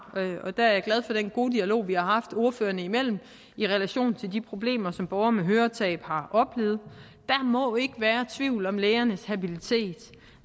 og der er jeg glad for den gode dialog vi har haft ordførerne imellem i relation til de problemer som borgere med høretab har oplevet der må ikke være tvivl om lægernes habilitet